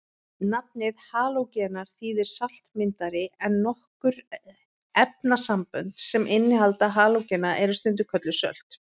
Nafnið halógenar þýðir saltmyndari en nokkur efnasambönd sem innihalda halógena eru stundum kölluð sölt.